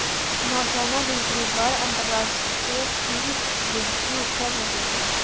नौसेना दूसरी बार अंतरराष्ट्रीय फ्लीट रिव्यू कर रही है